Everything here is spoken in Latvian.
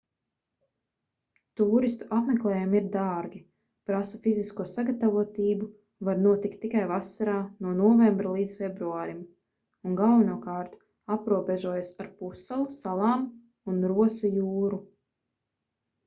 tūristu apmeklējumi ir dārgi prasa fizisko sagatavotību var notikt tikai vasarā no novembra līdz februārim un galvenokārt aprobežojas ar pussalu salām un rosa jūru